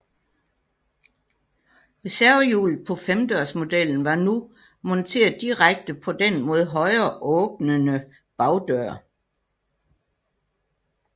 Reservehjulet på femdørsmodellen var nu monteret direkte på den mod højre åbnende bagdør